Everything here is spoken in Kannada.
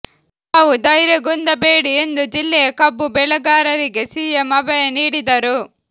ತಾವು ಧೈರ್ಯಗುಂದಬೇಡಿ ಎಂದು ಜಿಲ್ಲೆಯ ಕಬ್ಬು ಬೆಳೆಗಾರರಿಗೆ ಸಿಎಂ ಅಭಯ ನೀಡಿದರು